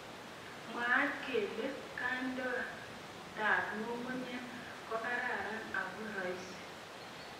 Mwaat kele kond'eetab ng'ung'unyek kokararan ako roisi.